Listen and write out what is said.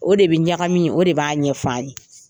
O de bi ɲagami o de b'a ɲɛfan ye.